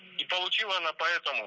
и получила она поэтому